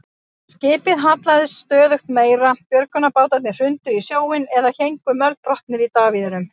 Skipið hallaðist stöðugt meira, björgunarbátarnir hrundu í sjóinn eða héngu mölbrotnir í davíðunum.